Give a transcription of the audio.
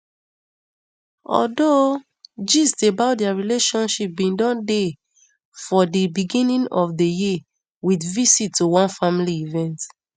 although gist about dia relationship bin don dey for di beginning of di year with visit to one family event